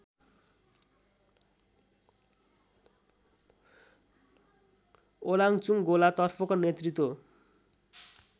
ओलाङचुङगोला तर्फको नेतृत्व